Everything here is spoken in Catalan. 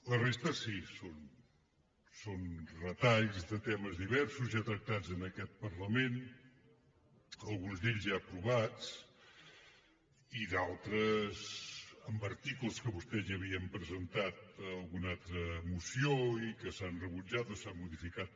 la resta sí són retalls de temes diversos ja tractats en aquest parlament alguns d’ells ja aprovats i d’altres en articles que vostès ja havien presentat en alguna altra moció i que s’han rebutjat o s’han modificat